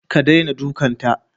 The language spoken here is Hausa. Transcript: Ka daina dukanta